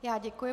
Já děkuji.